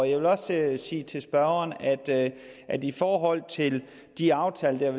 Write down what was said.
jeg vil også sige til spørgeren at i forhold til de aftaler der er